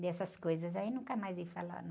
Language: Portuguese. Dessas coisas aí, nunca mais vi falar, não.